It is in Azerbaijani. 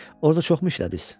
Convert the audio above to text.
Orada çoxmu işlədiniz?